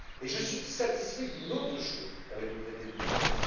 Et je suis satisfait d'une autre chose apportée par le traité de Lisbonne.